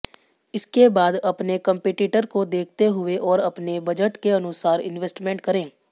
इसके बाद अपने कम्पीटीटर को देखते हुए और अपने बजट के अनुसार इन्वेस्टमेंट करे